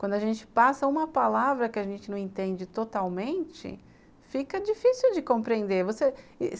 Quando a gente passa uma palavra que a gente não entende totalmente, fica difícil de compreender. Você...